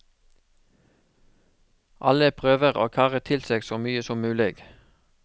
Alle prøver å karre til seg så mye som mulig.